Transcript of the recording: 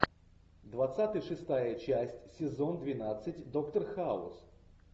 двадцатый шестая часть сезон двенадцать доктор хаус